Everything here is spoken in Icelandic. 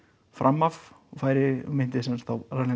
fram af og færi myndi þá